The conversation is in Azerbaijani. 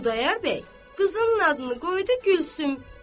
Xudayar bəy qızının adını qoydu Gülsüm.